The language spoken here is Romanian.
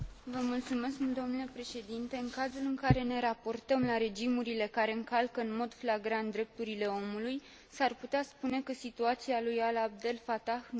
În cazul în care ne raportăm la regimurile care încalcă în mod flagrant drepturile omului, s ar putea spune că situația lui Alaa Abdel Fatah nu este atât de gravă.